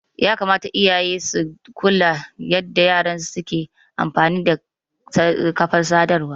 Yakamata iyaye su kula da yanda yaransu ke amfani da kafar sadarwa.